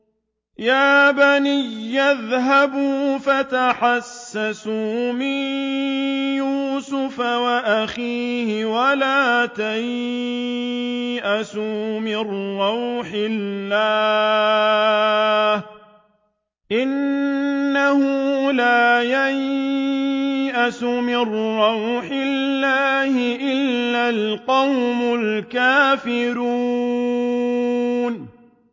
يَا بَنِيَّ اذْهَبُوا فَتَحَسَّسُوا مِن يُوسُفَ وَأَخِيهِ وَلَا تَيْأَسُوا مِن رَّوْحِ اللَّهِ ۖ إِنَّهُ لَا يَيْأَسُ مِن رَّوْحِ اللَّهِ إِلَّا الْقَوْمُ الْكَافِرُونَ